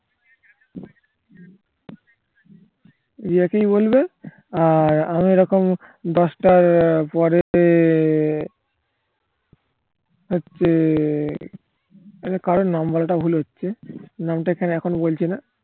রিয়াকেই বলবে আর আমি এরকম দশটার পরে হচ্ছে আচ্ছা কারো number টা ভুল হচ্ছে নাম টা এখানে এখন বলছি না